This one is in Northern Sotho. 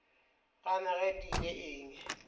gana ge di ile eng